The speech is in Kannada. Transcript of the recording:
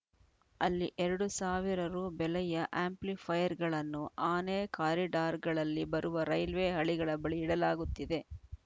ಅಲ್ಲಿ ಎರಡ್ ಸಾವಿರ ರೂಪಾಯಿ ಬೆಲೆಯ ಆ್ಯಂಪ್ಲಿಫೈರ್‌ಗಳನ್ನು ಆನೆ ಕಾರಿಡಾರ್‌ಗಳಲ್ಲಿ ಬರುವ ರೈಲ್ವೆ ಹಳಿಗಳ ಬಳಿ ಇಡಲಾಗುತ್ತಿದೆ